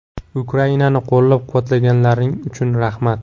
Ukrainani qo‘llab-quvvatlaganlaring uchun rahmat!